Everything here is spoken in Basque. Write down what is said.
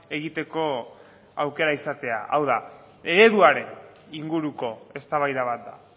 egiteko aukera izatea hau da ereduaren inguruko eztabaida bat da